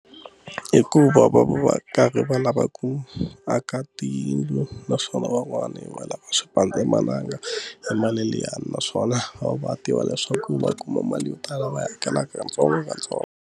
Hikuva va va va karhi va lava ku aka tiyindlu naswona van'wani va lava xipandzamananga hi mali liyani naswona va tiva leswaku va kuma mali yo tala va hakelaka katsongokatsongo.